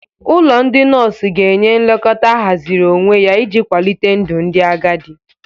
Ụlọ ndị nọọsụ ga-enye nlekọta ahaziri onwe ya iji kwalite ndụ ndị agadi